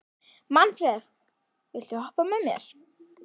Manfreð, viltu hoppa með mér?